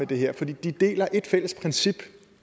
det her for de deler et fælles princip